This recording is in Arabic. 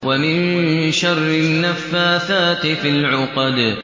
وَمِن شَرِّ النَّفَّاثَاتِ فِي الْعُقَدِ